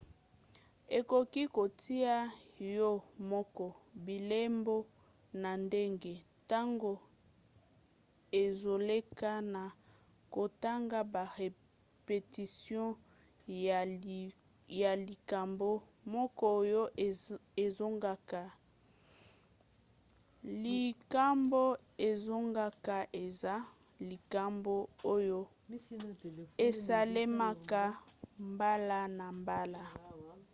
okoki kotia yo moko bilembo na ndenge ntango ezoleka na kotanga ba repetition ya likambo moko oyo ezongaka. likambo ezongaka eza likambo oyo esalemaka mbala na mbala